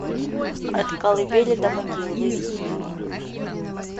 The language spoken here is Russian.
от колыбели до могилы выведи мне